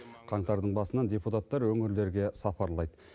қаңтардың басынан депутаттар өңірлерге сапарлайды